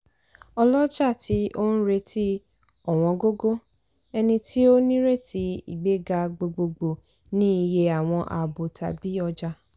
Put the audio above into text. olọ́jà tí oun retí ọ̀wọ́n góńgó - ẹni tí ó nírètí ìgbéga gbogbogbò ní iye àwọn àábò tàbí ọjà.